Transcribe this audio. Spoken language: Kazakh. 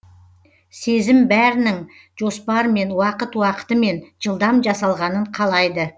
сезім бәрінің жоспармен уақыт уақытымен жылдам жасалғанын қалайды